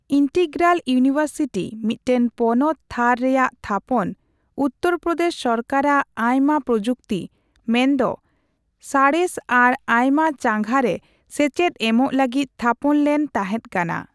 Integral university, ᱢᱤᱫᱴᱟᱝ ᱯᱚᱱᱚᱛᱼᱛᱷᱟᱨ ᱨᱮᱭᱟᱜ ᱛᱷᱟᱯᱚᱱ, ᱩᱛᱛᱚᱨᱯᱨᱚᱫᱮᱥ ᱥᱚᱨᱠᱟᱨᱟᱜ ᱟᱭᱢᱟ ᱯᱨᱚᱡᱩᱛᱤ, ᱢᱮᱱᱫᱚ ᱥᱟᱬᱮᱥ ᱟᱨ ᱟᱭᱢᱟ ᱪᱟᱸᱜᱟ ᱨᱮ ᱥᱮᱪᱮᱫ ᱮᱢᱚᱜ ᱞᱟᱹᱜᱤᱫ ᱛᱷᱟᱯᱚᱱ ᱞᱮᱱ ᱛᱟᱦᱮᱸᱫ ᱠᱟᱱᱟ ᱾